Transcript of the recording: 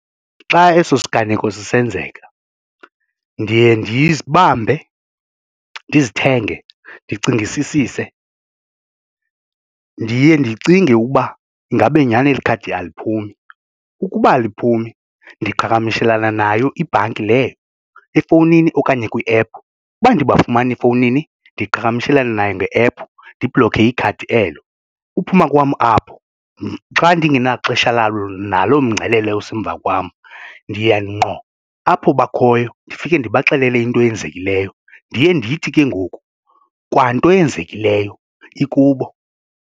Xa eso siganeko sisenzeka ndiye ndizibambe, ndizithenge, ndicingisisise ndiye ndicinge ukuba ingabe nyhani elikhadi aliphumi ukuba aliphumi ndiqhagamishelana nayo ibhanki leyo efowunini okanye kwi-ephu. Uba andibafumani efowunini ndiqhagamshelane nayo nge ephu ndibloke ikhadi elo. Uphuma kwam apho xa ndingenaxesha lalo nalo mngcelele osemva kwam ndiya ngqo apho bakhoyo ndifike ndibaxelele into eyenzekileyo ndiye ndithi ke ngoku kwanto eyenzekileyo ikubo.